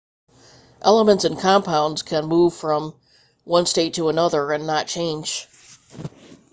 elements and compounds can move from one state to another and not change